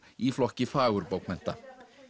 í flokki fagurbókmennta